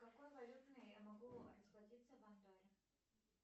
какой валютой я могу расплатиться в андорре